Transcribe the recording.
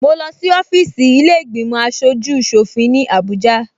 Mo lọ sí ọfíìsì ilé ìgbìmò aṣojú ṣòfin ní Abuja